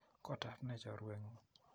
Kotap ne chorwet ng'ung'?